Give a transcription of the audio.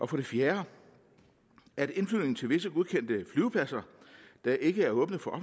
for det fjerde at indflyvning til visse godkendte flyvepladser der ikke er åbne for